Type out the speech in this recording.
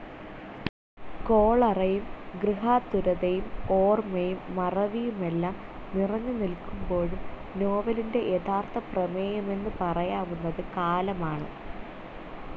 കോളറയും ഗൃഹാതുരതയും ഓർമ്മയും മറവിയുമെല്ലാം നിറഞ്ഞു നിൽക്കുമ്പോഴും നോവലിന്റെ യഥാർത്ഥ പ്രമേയമെന്നു പറയാവുന്നത് കാലമാണ്.